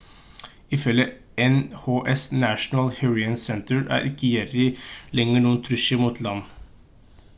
ifølge nhc national hurricane center er ikke jerry lenger noen trussel mot land